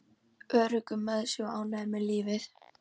Öruggur með sig og ánægður með lífið.